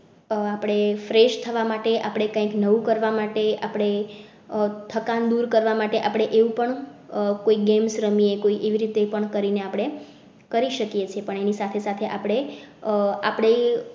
આહ આપડે fresh થવા માટે આપણે કઈક નવું કરવા માટે આપણે થકાન દૂર કરવા માટે આપણે એવું પણ કોઈ games રમીએ કોઈ એવી રીતે પણ કરી ને આપણે કરી શકીએ છીએ, પણ એની સાથે સાથે આપડે આહ આપડે